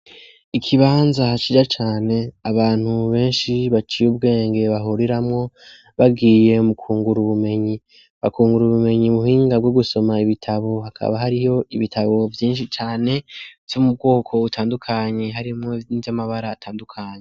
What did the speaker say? Ikibanza hasirya cane abantu mu benshi baciye ubwenge bahuriramwo bagiye mukungura ubumenyi bakungura ubumenyi muhinga bwo gusoma ibitabo hakaba hariho ibitabo vyinshi cane vyo mu bwoko butandukanyi harimwo vyinzyo amabara atandukanye.